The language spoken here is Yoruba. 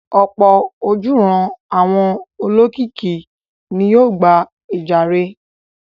Ọ̀pọ̀ ojúuran àwọn olókìkí ni yóò gba ìjàre.